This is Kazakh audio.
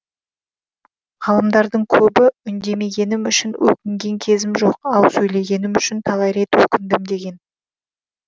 ғалымдардың көбі үндемегенім үшін өкінген кезім жоқ ал сөйлегенім үшін талай рет өкіндім деген